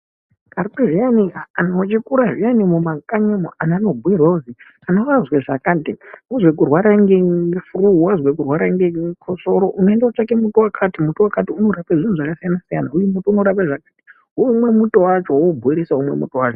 Karetu zviyani anhu echikura zviyani mumakanyimwo anhu anobhuirwa kuzi anorapa zvakati, wazwa kurwara ngefuruu wazwa kurwara ngechikosoro, unoenda kootsvaka muti wakati unorapa zvinhu zvasiyana siyana, woomwe muto wacho woubhoilisa womwe muto wacho.